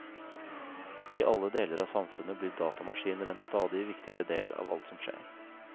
I alle deler av samfunnet blir datamaskiner en stadig viktigere del av alt som skjer.